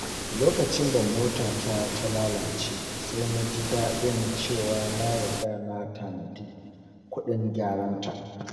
Lokacin da motata ta lalace, sai na ji daɗin cewa na riga na tanadi kuɗin gyara.